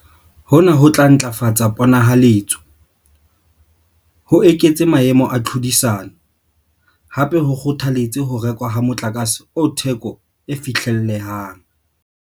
Hona ho tla ntlafatsa pona-haletso, ho eketse maemo a tlhodisano, hape ho kgotha-letse ho rekwa ha motlakase o theko e fihlellehang.